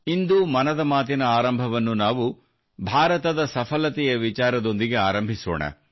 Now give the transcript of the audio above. ಇಂದು ಮನದ ಮಾತಿನ ಆರಂಭವನ್ನು ನಾವು ಭಾರತದ ಸಫಲತೆಯ ವಿಚಾರದೊಂದಿಗೆ ಆರಂಭಿಸೋಣ